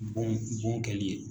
Bon bon kɛli ye.